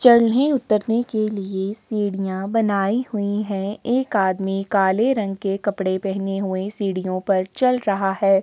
चढ़ने उतरने के लिए सीढ़ियां बनाई हुई है एक आदमी काले रंग के कपड़े पहने हुए सीढ़ियों पर चल रहा है।